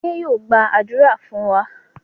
Adé yóò gbàdúrà fún wa.